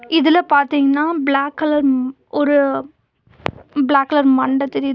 இதுல பாத்தீங்க்னா black colour ம் ஒரு பிளாக் கலர் மண்ட தெரியுது.